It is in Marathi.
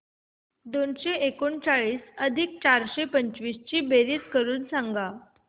दोनशे एकोणचाळीस अधिक चारशे पंचवीस ची बेरीज करून सांगा